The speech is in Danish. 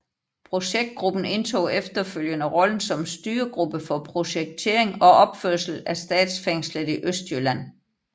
Projektgruppen indtog efterfølgende rollen som styregruppe for projektering og opførsel af Statsfængslet Østjylland